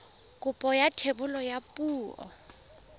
kopo ya thebolo ya poo